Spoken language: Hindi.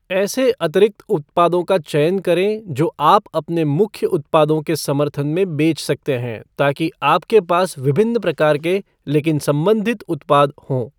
ऐसे अतिरिक्त उत्पादों का चयन करें जो आप अपने मुख्य उत्पादों के समर्थन में बेच सकते हैं ताकि आपके पास विभिन्न प्रकार के, लेकिन संबंधित उत्पाद हों।